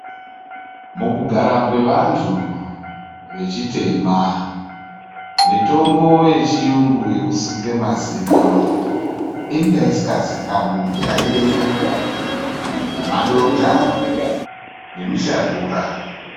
Mukugara kwevanhu vechitema mitombo yechiyungu yekusuke mazino inga isingazikanwi, chaiyeyo madota nemishanguraa.